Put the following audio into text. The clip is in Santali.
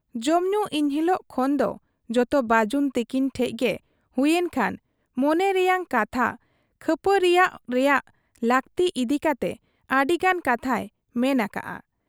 ᱡᱚᱢᱧᱩ ᱤᱱᱦᱤᱞᱚᱜ ᱠᱷᱚᱱᱫᱚ ᱡᱚᱛᱚ ᱵᱟᱹᱡᱩᱱ ᱛᱤᱠᱤᱱ ᱴᱷᱮᱫ ᱜᱮ ᱦᱩᱭᱮᱱ ᱠᱷᱟᱱ ᱢᱚᱱᱮ ᱨᱮᱭᱟᱝ ᱠᱟᱛᱷᱟ, ᱠᱷᱟᱹᱯᱟᱹᱨᱤᱭᱟᱹᱣᱜ ᱨᱮᱭᱟᱜ ᱞᱟᱹᱠᱛᱤ ᱤᱫᱤ ᱠᱟᱛᱮ ᱟᱹᱰᱤᱜᱟᱱ ᱠᱟᱛᱷᱟᱭ ᱢᱮᱱ ᱟᱠᱟᱜ ᱟ ᱾